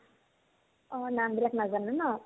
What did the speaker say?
অ, নামবিলাক নাজানো ন